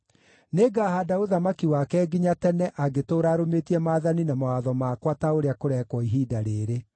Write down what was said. Nĩngahaanda ũthamaki wake nginya tene angĩtũũra arũmĩtie maathani na mawatho makwa ta ũrĩa kũrekwo ihinda rĩĩrĩ.’